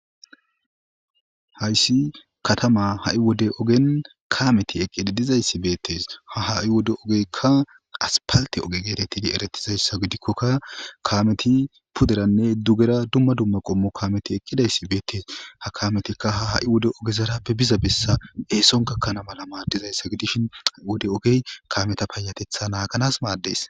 Hayssi katama ha7i wode ogen kaameti eqqididizayssi beettes ha ha7i wode ogeykka aspalte oge geetetidi eretizayssa gidikkokka kameti puderanne dugera dumma dumma qommo kaameti eqqidayssi beettees ha kametikka ha ha7i wode ogezarappe biza bessa eeson gakkanamala maaddizayssa gidishin ha7i wode ogey kameta payatetha naaganas maaddees.